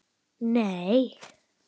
Nei